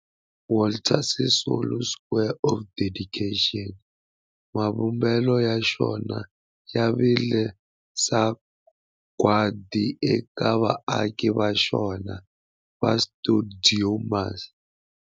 Walter Sisulu Square of Dedication, mavumbelo ya xona ya vile sagwadi eka vaaki va xona va stuidio MAS.